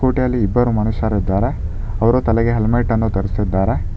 ಒಟಿಲಿ ಇಬ್ಬರು ಮನುಷ್ಯರಿದ್ದಾರೆ ಅವರು ತಲೆಗೆ ಹೆಲ್ಮೆಟ್ ಅನ್ನು ಧರಿಸಿದ್ದಾರೆ.